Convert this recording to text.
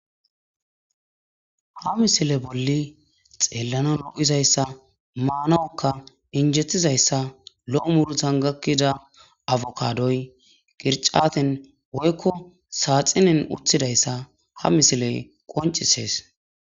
Ha misile bolli xeellana lo'izayssa maanawukka injetizayssa lo'o murutan gakkida affukadoy qircaten woykko saaxinen urthidayssa ha misile qoncisees.